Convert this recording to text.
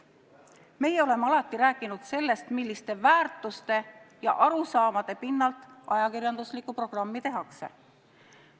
Meie oleme alati rääkinud sellest, milliste väärtuste ja arusaamade pinnalt ajakirjanduslikku programmi tehakse.